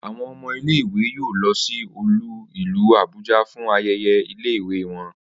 Awọn ọmọ ile-iwe yoo lọ si olú ìlú Abuja fun ayẹyẹ ile-iwe wọn.